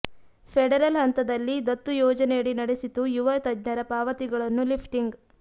federal ಹಂತದಲ್ಲಿ ದತ್ತು ಯೋಜನೆಯಡಿ ನಡೆಸಿತು ಯುವ ತಜ್ಞರ ಪಾವತಿಗಳನ್ನು ಲಿಫ್ಟಿಂಗ್